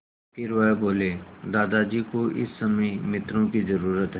फिर वह बोले दादाजी को इस समय मित्रों की ज़रूरत है